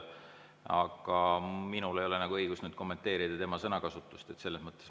Aga minul ei ole õigust kommenteerida tema sõnakasutust.